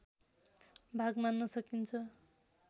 भाग मान्न सकिन्छ